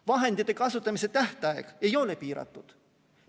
Vahendite kasutamise tähtaeg ei ole piiratud.